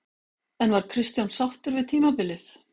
En var Kristján sáttur við tímabilið?